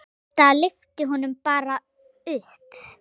Þetta lyfti honum bara upp.